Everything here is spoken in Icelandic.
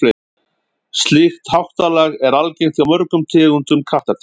slíkt háttalag er algengt hjá mörgum tegundum kattardýra